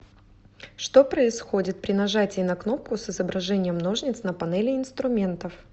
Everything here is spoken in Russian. что происходит при нажатии на кнопку с изображением ножниц на панели инструментов